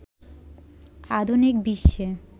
আধুনিক বিশ্বে